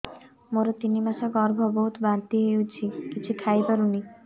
ମୋର ତିନି ମାସ ଗର୍ଭ ବହୁତ ବାନ୍ତି ହେଉଛି କିଛି ଖାଇ ପାରୁନି